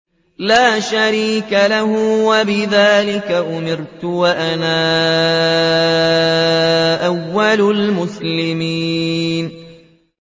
لَا شَرِيكَ لَهُ ۖ وَبِذَٰلِكَ أُمِرْتُ وَأَنَا أَوَّلُ الْمُسْلِمِينَ